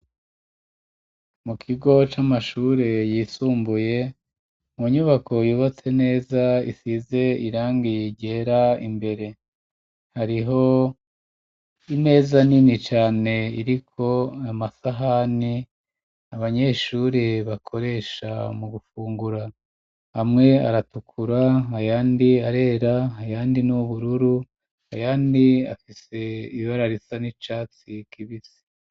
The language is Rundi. Mu kigo c'amashuri yisumbuye mu nyubako yubatse neza ,isize irangi ryera imbere, hariho imeza nini cane iriko amasahani abanyeshuri bakoresha mu gufungura ,hamwe aratukura, ayandi arera ,ayandi n'ubururu, ayandi afise ibara risa n'icatsi kibisi.